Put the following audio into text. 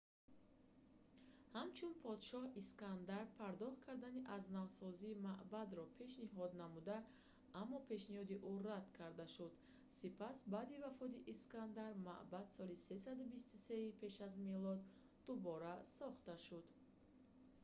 ҳамчун подшоҳ искандар пардохт кардани азнавсозии маъбадро пешниҳод намуд аммо пешниҳоди ӯ рад карда шуд сипас баъди вафоти искандар маъбад соли 323-и пеш аз милод дубора сохта шуда буд